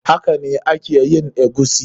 Hakane a ke yin eguisi.